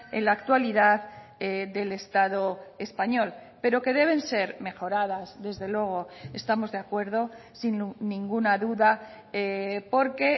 en la actualidad del estado español pero que deben ser mejoradas desde luego estamos de acuerdo sin ninguna duda porque